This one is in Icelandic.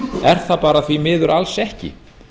er það bara því miður alls ekki